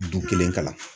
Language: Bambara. Dun kelen kama